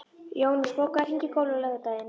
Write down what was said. Jónas, bókaðu hring í golf á laugardaginn.